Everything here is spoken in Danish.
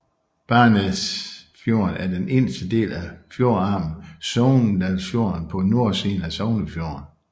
Barsnesfjorden er den inderste del af fjordarmen Sogndalsfjorden på nordsiden af Sognefjorden